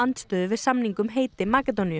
andstöðu við samning um heiti Makedóníu